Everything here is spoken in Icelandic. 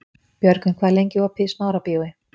Björgvin, hvað er lengi opið í Smárabíói?